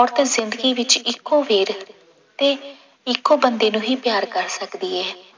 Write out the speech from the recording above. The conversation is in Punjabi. ਔਰਤ ਜ਼ਿੰਦਗੀ ਵਿੱਚ ਇੱਕੋ ਵੇਰ ਤੇ ਇੱਕੋ ਬੰਦੇ ਨੂੰ ਹੀ ਪਿਆਰ ਕਰ ਸਕਦੀ ਹੈ।